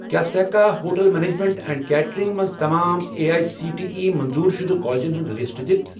کیٛاہ ژٕ ہیٚککھا ہوٹل میٚنیجمیٚنٛٹ اینٛڈ کیٹرِنٛگ مَنٛز تمام A I C T E منظور شُدٕ کالجن ہُنٛد لسٹ دِتھ؟